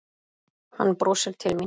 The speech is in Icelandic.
Hann brosir til mín.